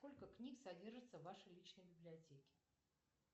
сколько книг содержится в вашей личной библиотеке